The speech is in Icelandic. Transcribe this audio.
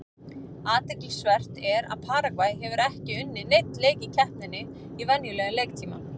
Athyglisvert er að Paragvæ hefur ekki unnið neinn leik í keppninni í venjulegum leiktíma.